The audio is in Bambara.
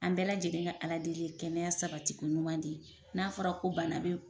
An bɛɛ lajɛlen ka Ala deli ye kɛnɛya sabati ko ɲuman de ye n'a fɔra ko bana be